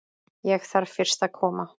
Ég þarf fyrst að koma